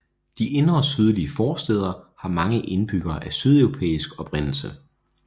De indre sydlige forstæder har mange indbyggere af sydeuropæisk oprindelse